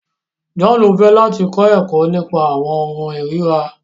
John fẹ láti kọ ẹkọ nípa awọn ohùn irira